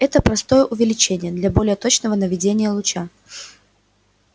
это простое увеличение для более точного наведения луча